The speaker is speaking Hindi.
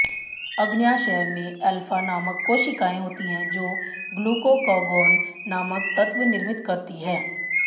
अग्न्याशय में एल्फा नामक कोशिकाएं होती हैं जो ग्लूकागॉन नामक तत्व निर्मित करती हैं